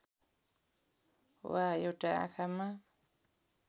वा एउटा आँखामा